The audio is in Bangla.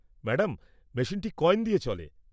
ম্যাডাম, মেশিনটি কয়েন দিয়ে চলে।